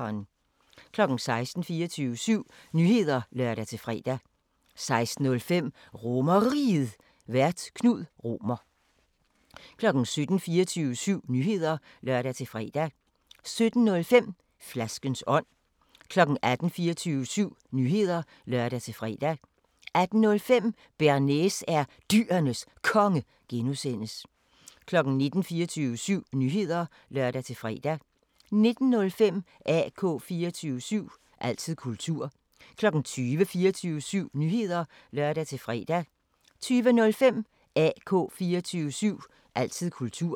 16:00: 24syv Nyheder (lør-fre) 16:05: RomerRiget, Vært: Knud Romer 17:00: 24syv Nyheder (lør-fre) 17:05: Flaskens ånd 18:00: 24syv Nyheder (lør-fre) 18:05: Bearnaise er Dyrenes Konge (G) 19:00: 24syv Nyheder (lør-fre) 19:05: AK 24syv – altid kultur 20:00: 24syv Nyheder (lør-fre) 20:05: AK 24syv – altid kultur